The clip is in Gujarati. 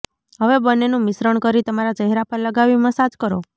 હવે બંનેનું મિશ્રણ કરી તમારા ચહેરા પર લગાવી મસાજ કરો